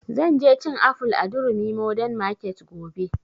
Zan je cin aful a durumi modern market gobe